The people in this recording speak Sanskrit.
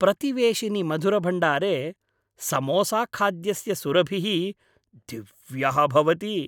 प्रतिवेशिनि मधुरभण्डारे समोसाखाद्यस्य सुरभिः दिव्यः भवति।